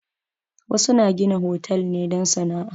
Wasu na gina hotal ne don sana'a.